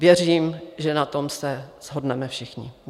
Věřím, že na tom se shodneme všichni.